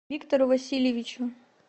виктору васильевичу